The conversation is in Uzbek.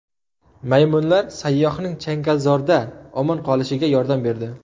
Maymunlar sayyohning changalzorda omon qolishiga yordam berdi.